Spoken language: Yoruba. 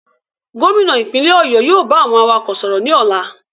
Gómìnà ìpínlẹ̀ ọ̀yọ́ yóò ba àwọn awakọ̀ sọ̀rọ̀ ní ọlá.